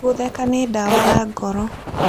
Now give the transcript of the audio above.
Gũtheka nĩ ndawa ya ngoro.